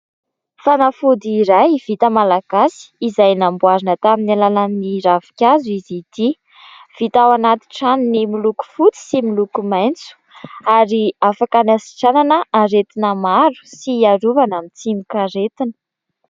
Fanafody iray vita malagasy izay namboarina tamin'ny alalan'ny ravinkazo izy ity. Vita ao anaty tranony miloko fotsy sy miloko maintso, ary afaka ny hasitranana aretina maro sy hiarovana amin'ny tsimok'aretina.